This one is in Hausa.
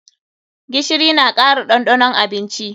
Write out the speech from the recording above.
Gishiri na kara ɗanɗanon abinci.